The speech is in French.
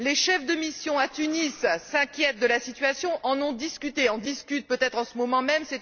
Les chefs de mission à Tunis s'inquiètent de la situation, en ont discuté, en discutent peut être en ce moment même.